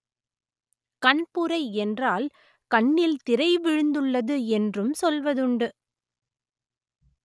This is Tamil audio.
கண்புரை என்றால் கண்ணில் திரை விழுந்துள்ளது என்றும் சொல்வதுண்டு